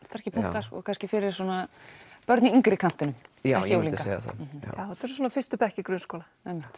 sterkir punktar og kannski fyrir svona börn í yngri kantinum já ég myndi segja það þetta eru svona fyrstu bekkir grunnskóla